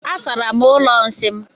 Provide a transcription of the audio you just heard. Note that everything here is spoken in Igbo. Asara m ụlọ nsị m.